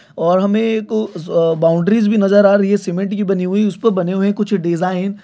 और हमे एक अ बाउंड्रीज भी नजर आ रही है सीमेंट की बनी हुई उसपे बने हुए कुछ डिज़ाइन--